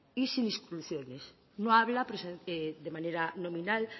y sin exclusiones no habla pese a que es de manera nominal